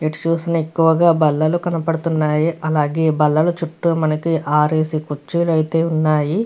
ఎటు చూసినా ఎక్కువుగా బల్లలు కనపడుతున్నాయి. అలాగే బల్లలు చుట్టూ మనకి ఆరేసి కుర్చీలు అయితే ఉన్నాయి.